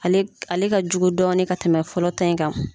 Ale ka jugu dɔɔnin ka tɛmɛ fɔlɔ ta in kan.